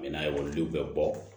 n'a ye olu bɛɛ bɔ